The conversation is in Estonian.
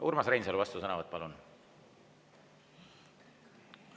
Urmas Reinsalu, vastusõnavõtt, palun!